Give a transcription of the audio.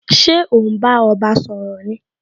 Ṣé o n bá ọba sọ̀rọ̀ ni?